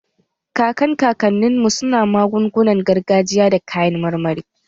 Kakan kakannin mu su na magungunar gargajiya da kayan marmari